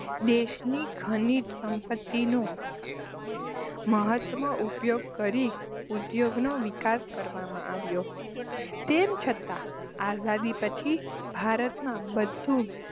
દેશની ખનીજ સંપત્તિનો મહત્વ ઉપયોગ કરી ઉદ્યોગનો વિકાસ કરવામાં આવ્યો. તેમ છતાં આઝાદી પછી ભારતમાં બધું